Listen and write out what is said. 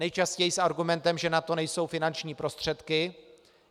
Nejčastěji s argumentem, že na to nejsou finanční prostředky.